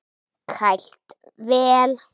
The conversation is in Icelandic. Kælt vel.